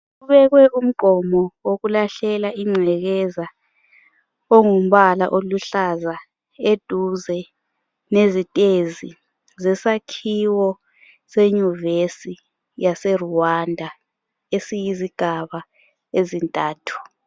Kubekwe umgqomo wokulahlelwa ingcekeza ongumbala oluhlaza eduze lezitezi zesakhiwo senyuvesi yase Rwanda esiyizigaba ezintathu.